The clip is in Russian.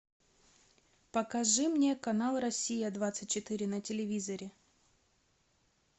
покажи мне канал россия двадцать четыре на телевизоре